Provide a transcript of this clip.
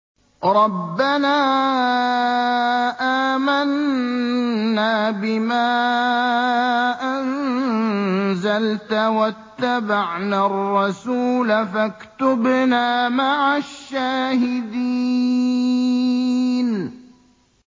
رَبَّنَا آمَنَّا بِمَا أَنزَلْتَ وَاتَّبَعْنَا الرَّسُولَ فَاكْتُبْنَا مَعَ الشَّاهِدِينَ